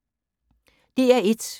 DR1